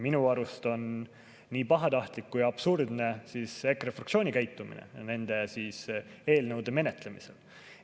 Minu arust on nii pahatahtlik kui ka absurdne EKRE fraktsiooni käitumine nende eelnõude menetlemisel.